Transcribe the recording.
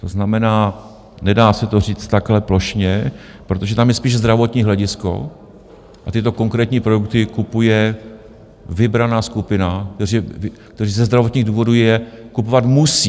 To znamená, nedá se to říct takhle plošně, protože tam je spíš zdravotní hledisko, a tyto konkrétní produkty kupuje vybraná skupina, která ze zdravotních důvodů je kupovat musí.